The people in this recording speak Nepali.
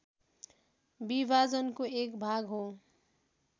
विभाजनको एक भाग हो